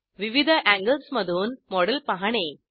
विविध एंगल्समधून मॉडेल पाहणे